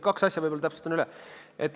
Kaks asja täpsustan üle.